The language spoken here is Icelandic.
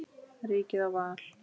Ríkið á val.